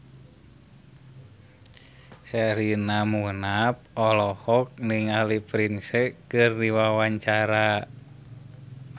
Sherina Munaf olohok ningali Prince keur diwawancara